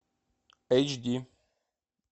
эйч ди